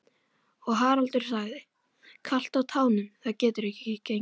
Og Haraldur sagði: Kalt á tánum, það getur ekki gengið.